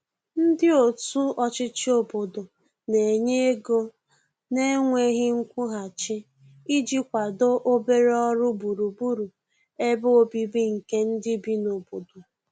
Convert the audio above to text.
ndi otu ochichi obodo n'enye ego na nweghi nkwuhachi iji kwado obere ọrụ gburugburu ebe ọbìbi nke ndi bi n'obodo